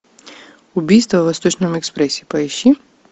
убийство в восточном экспрессе поищи